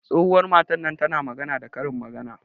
Tsohuwan matan ta na magana da Karin magana.